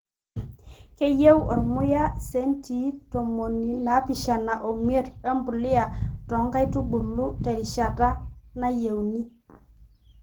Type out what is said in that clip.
Keyieu ormuya esenti tomuni naapishani omiet e mbuliya toonkaitubulu terishata nayieuni